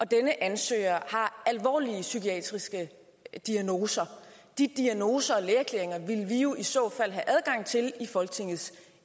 denne ansøger har alvorlige psykiatriske diagnoser de diagnoser og lægeerklæringer ville vi jo i så fald have adgang til i folketingets